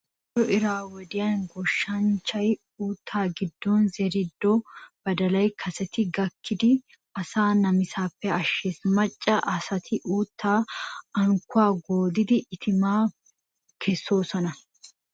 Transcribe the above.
Koyro iray wodhdhin goshshanchchay uuttaa giddon zerido badalay kaseti gakkidi asaa namisaappe ashshees. Macca asati uuttaa unkkuwaa goodidi itimaa kessoosona.